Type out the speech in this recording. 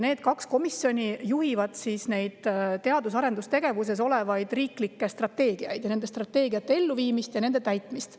Need kaks komisjoni juhivad teadus- ja arendustegevuse riiklikke strateegiaid ning nende strateegiate elluviimist ja täitmist.